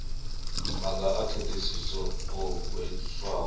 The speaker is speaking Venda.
maga a ndaṱiso o hweswaho